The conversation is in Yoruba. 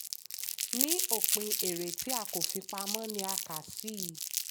ní òpin èrè tí a kò fi pamọ́ ni a kà sí.